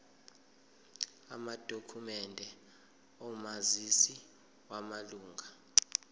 amadokhumende omazisi wamalunga